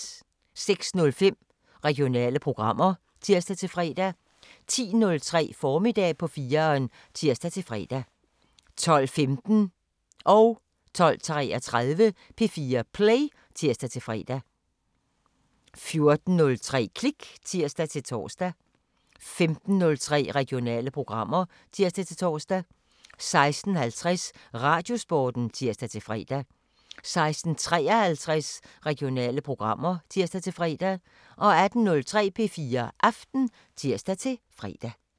06:05: Regionale programmer (tir-fre) 10:03: Formiddag på 4'eren (tir-fre) 12:15: P4 Play (tir-fre) 12:33: P4 Play (tir-fre) 14:03: Klik (tir-tor) 15:03: Regionale programmer (tir-tor) 16:50: Radiosporten (tir-fre) 16:53: Regionale programmer (tir-fre) 18:03: P4 Aften (tir-fre)